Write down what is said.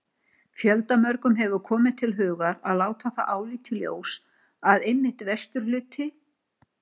Fjöldamörgum hefir komið til hugar og látið það álit í ljós, að einmitt vesturhluti